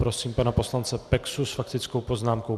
Prosím pana poslance Peksu s faktickou poznámkou.